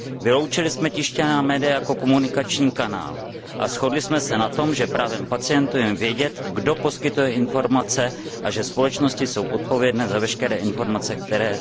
Vyloučili jsme tištěná média jako komunikační kanál a shodli jsme se na tom, že právem pacientů je vědět, kdo poskytuje informace, a že společnosti jsou odpovědné za veškeré informace, které